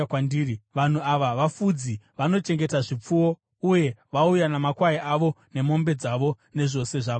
Vanhu ava vafudzi; vanochengeta zvipfuwo, uye vauya namakwai avo nemombe dzavo nezvose zvavanazvo.’